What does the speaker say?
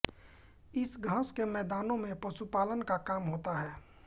इन घास के मैदानों में पशुपालन का काम होता है